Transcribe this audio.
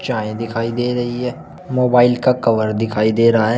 चाय दिखाई दे रही है मोबाइल का कवर दिखाई दे रहा है।